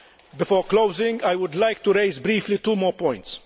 Before closing, I would like to raise briefly two more points.